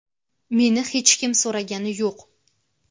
Meni hech kim so‘ragani yo‘q.